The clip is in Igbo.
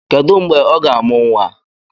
Kedu mgbè ọ ga-amu nwa?